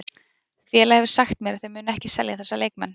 Félagið hefur sagt mér að þeir muni ekki selja þessa leikmenn.